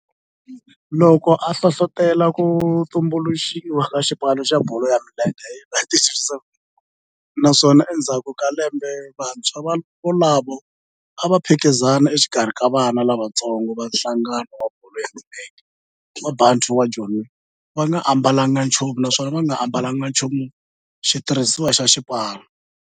loko a hlohlotela ku tumbuluxiwa ka xipano xa bolo ya milenge hi 1937 naswona endzhaku ka lembe vantshwa volavo a va phikizana exikarhi ka vana lavatsongo va nhlangano wa bolo ya milenge wa Bantu wa Joni va nga ambalanga nchumu naswona va nga ambalanga nchumu xitirhisiwa xa xipano.